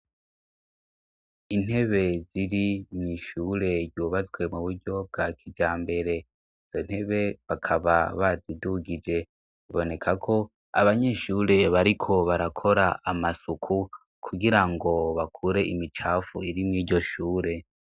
Intebe ziri mw'ishure yubazwe mu buryo bwa kijambere izo ntebe bakaba bazidugije biboneka ko abanyeshure bariko barakora amasuku kugirango bakure imicafu iri mw'iryo shure.